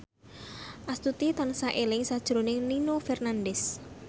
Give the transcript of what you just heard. Astuti tansah eling sakjroning Nino Fernandez